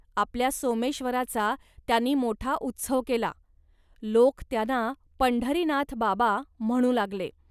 आपल्या सोमेश्वराचा त्यांनी मोठा उत्सव केला. लोक त्यांना 'पंढरीनाथ बाबा' म्हणू लागले